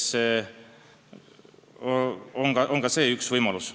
See on üks võimalus.